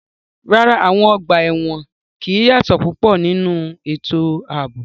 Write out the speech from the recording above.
Rárá, àwọn ọgbà ẹ̀wọ̀n kì í yàtọ̀ púpọ̀ nínú ètò ààbò.